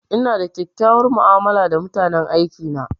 Ina da kyakkyawan mu'amala da mutanen aiki na.